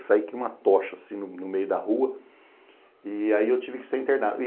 Eu saí que nem uma tocha assim no meio da rua e aí eu tive que ser internado.